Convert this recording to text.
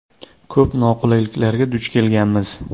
Ko‘p noqulayliklarga duch kelganmiz.